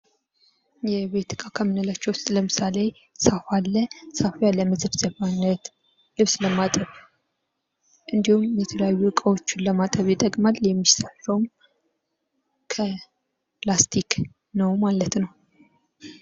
የቤት ዕቃ ከምንላቸው ውስጥ ለምሳሌ ሳፋ ሰፋ ለመዘፍዘፊያነት ልብስ ለማጠብ እንዲሁም የተለያዩ እቃዎችን ለማጠብ ይጠቅማል የሚሰራውም ከላስቲክ ነው ማለት ነው።